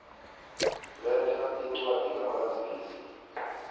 letha incwadi kamazisi